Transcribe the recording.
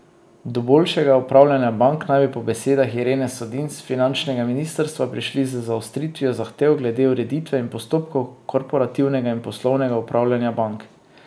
Do boljšega upravljanja bank naj bi po besedah Irene Sodin s finančnega ministrstva prišli z zaostritvijo zahtev glede ureditve in postopkov korporativnega in poslovnega upravljanja bank.